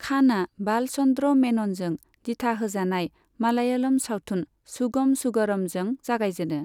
खानआ बालचन्द्र मेननजों दिथा होजानाय मालयालम सावथुन सुगम सुगमरमजों जागायजेनो।